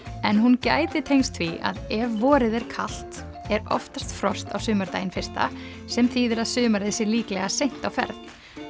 en hún gæti tengst því að ef vorið er kalt er oftast frost á sumardaginn fyrsta sem þýðir að sumarið sé líklega seint á ferð